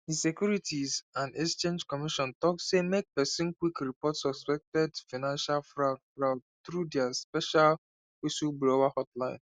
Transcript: di securities and exchange commission talk say make person quick report suspected financial fraud fraud through dia special whistleblower hotline